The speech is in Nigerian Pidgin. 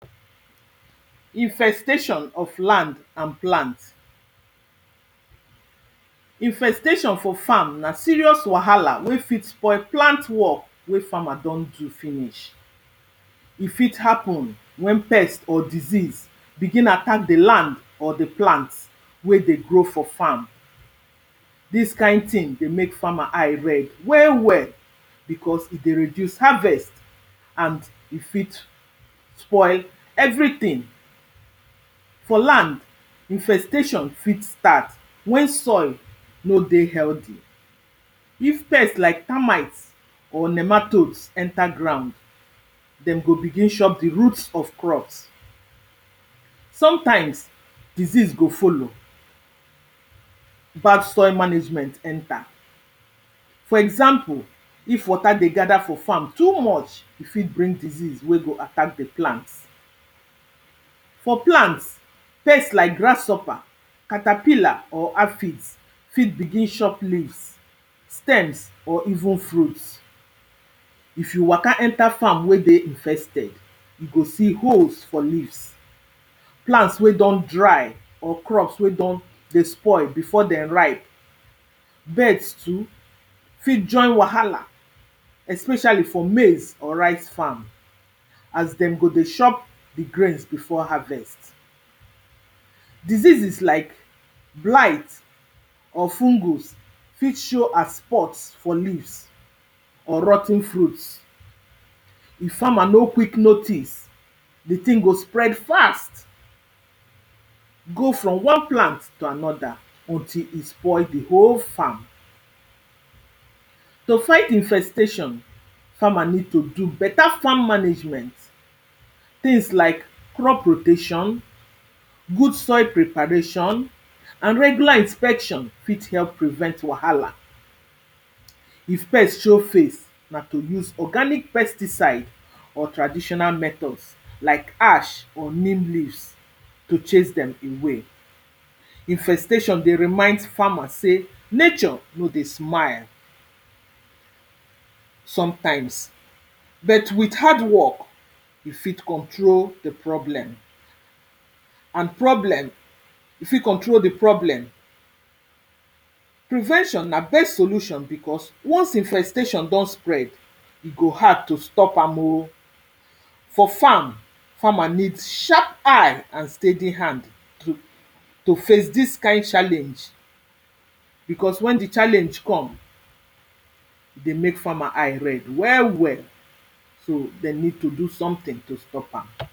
infestation of land and plant infestation for farm na serious wahala wey fit spoil plant work wey farmer don do finish. E fit happen when pest or disease begin attack the land or the plant wey dey grow for farm this kind thing dey make farmer eye red well well because e dey reduce harvest and e fit spoil everything for land, infestation fit start when soil no dey healthy if pest like termite or nematodes enter ground dem go begin shop the roots of crops sometimes, disease go follow bad soil management enter for example, if water dey gather for farm too much e fit bring disease wey go attack the plant for plant, pest like grasshopper carterpiller or aphids fit begin shop leaves, stems, or even fruits. If you waka enter farm wey dey infested, you go see holes for leaves, plants wey don dry or crops wey don dey spoil before den ripe birds too fit join wahala especially for maize or rice farm, as dem go dey chop the grains before harvest. diseases like blight, or fungus, fit show as spot for leaves or rot ten fruits. if farmer no quick notice, the thing go spread fast go from one plant to another until e spoil the whole farm. to fight infestation, farmer need to do beta farm management. things like crop rotation, good soil preparation, and regular inspection fit help prevent wahala. if pest show face, na to use organic pesticide or traditional methods like ash or neem leaves to chase dem away. Infestation dey remind farmers say nature no dey smile sometimes. bet with hardwork, you fit control the problem and problem, you fit control the problem prevention na best solution because once infestation don spread, e go hard to stop am o. for farm, farmer need sharp eye and steady hand to to face this kind challenge because when the challenge come, e dey make farmer eye red well well. so dem need to do something to stop am.